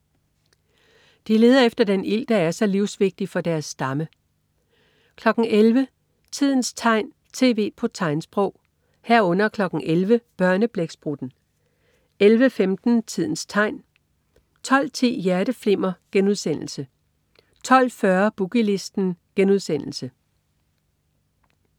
efter den ild, der er så livsvigtig for deres stamme 11.00 Tidens tegn, tv på tegnsprog 11.00 Børneblæksprutten 11.15 Tidens tegn 12.10 Hjerteflimmer* 12.40 Boogie Listen*